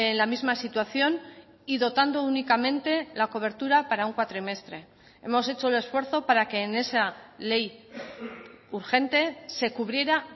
la misma situación y dotando únicamente la cobertura para un cuatrimestre hemos hecho el esfuerzo para que en esa ley urgente se cubriera